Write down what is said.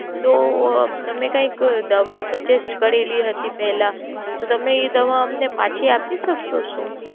તો તમે કૈક દવા સજેસ્ટ કરેલી હતી પેલા તો તમે ઈ દવા અમને પછી આપી શકો છો?